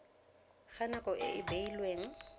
ga nako e e beilweng